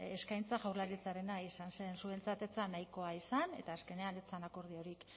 eskaintza jaurlaritzarena izan zen zuentzat ez zen nahikoa izan eta azkenean ez zen akordiorik